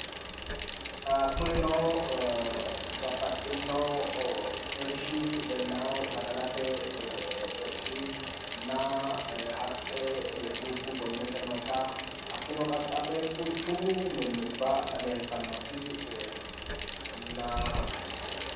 kuninio babbaxxino irshi leellawo badalate irshinna haqqe dubbu gonnote noota hakkino qaxxale quchumu minnubba eeltannotinna